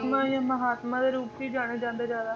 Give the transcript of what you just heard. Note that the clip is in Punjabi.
ਮਹਾਤਮਾ ਦੇ ਰੂਪ ਚ ਹੀ ਜਾਣਿਆ ਜਾਂਦਾ ਜ਼ਿਆਦਾ